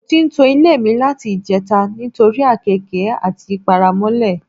Mo ti ń to ilé mi láti ìje̩ta nítorí àkééke àti paramó̩lè̩.